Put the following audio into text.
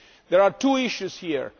There are two issues